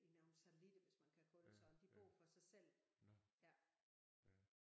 I nogle satellitter hvis man kan kalde det sådan de bor for sig selv ja